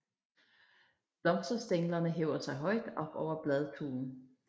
Blomsterstænglerne hæver sig højt op over bladtuen